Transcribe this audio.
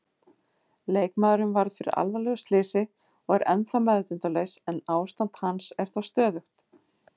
Leikmaðurinn varð fyrir alvarlegu slysi og er ennþá meðvitundarlaus en ástand hans er þó stöðugt.